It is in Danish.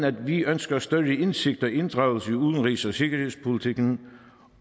at vi ønsker større indsigt og inddragelse i udenrigs og sikkerhedspolitikken